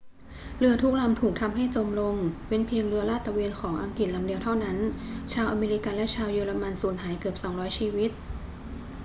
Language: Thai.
เรือทุกลำถูกทำให้จมลง เว้นเพียงเรือลาดตระเวนของอังกฤษลำเดียวเท่านั้น ชาวอเมริกันและชาวเยอรมันสูญหายเกือบ 200 ชีวิต